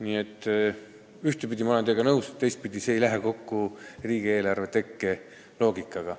Nii et ühtepidi ma olen teiega nõus, aga teistpidi ei lähe see kokku riigieelarve tekke loogikaga.